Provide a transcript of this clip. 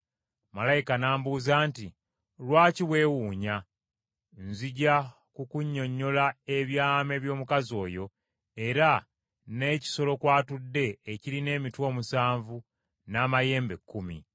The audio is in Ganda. Malayika n’ambuuza nti, “Lwaki weewuunya? Nzija kukunnyonnyola ebyama eby’omukazi oyo era n’ekisolo kw’atudde ekirina emitwe omusanvu n’amayembe ekkumi.